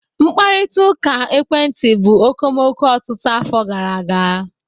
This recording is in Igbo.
Mkparịta ụka ekwentị bụ okomoko ọtụtụ afọ gara aga